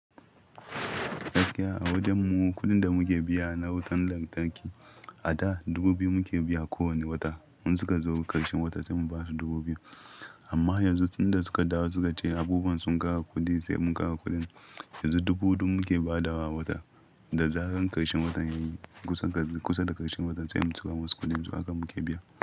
Gaskiya a wajen mu kuɗin da muke biya na wutar lantarki a da dubu biyu muke biya kowane wata. In suka zo ƙarshen wata sai mu ba su dubu biyu. Amma yanzu tunda suka dawo suka ce abubuwan sun ƙara kuɗi sai mun ƙara kuɗin. Yanzu dubu huɗu muke ba da wa a wata. Da zaran ƙarshen watan yayi kusa da ƙarshen watan sai mu tura masu kuɗin su haka muke biya.